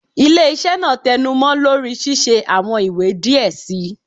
Ile-iṣẹ naa tẹnumọ lori ṣiṣe awọn iwe diẹ sii